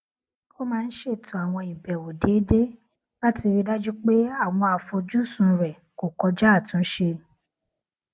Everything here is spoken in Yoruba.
ó máa ń ṣètò àwọn ìbèwò déédéé láti rí i dájú pé àwọn àfojúsùn rè kò kọjá àtúnṣe